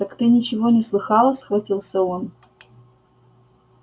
так ты ничего не слыхала схватился он